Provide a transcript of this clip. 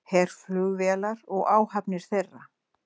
Herflugvélar og áhafnir þeirra